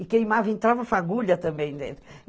E queimava, entrava fagulha também dentro.